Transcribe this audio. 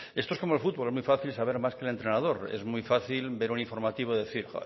esto es como el fútbol es muy fácil saber más que el entrenador es muy fácil ver un informativo y decir